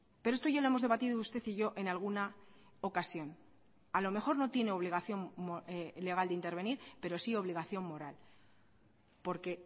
pero esto ya lo hemos debatido usted y yo en alguna ocasión a lo mejor no tiene obligación legal de intervenir pero sí obligación moral porque